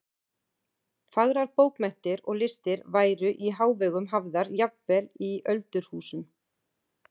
Fagrar bókmenntir og listir væru í hávegum hafðar jafnvel í öldurhúsum.